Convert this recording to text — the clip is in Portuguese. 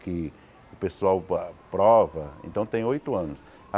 Que o pessoal pa prova, então tem oito anos.